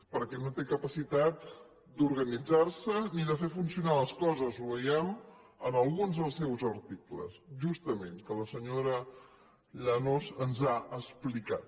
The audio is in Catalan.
perquè no té capacitat d’organitzar se ni de fer funcionar les coses ho veiem en alguns dels seus articles justament que la senyora llanos ens ha explicat